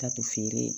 Taa to feere